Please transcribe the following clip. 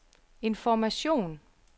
information